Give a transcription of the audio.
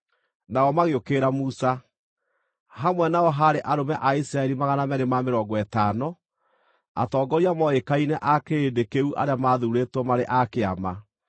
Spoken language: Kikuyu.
Nao magĩũkĩrĩra Musa. Hamwe nao haarĩ arũme a Isiraeli 250, atongoria mooĩkaine a kĩrĩndĩ kĩu arĩa maathuurĩtwo marĩ a kĩama.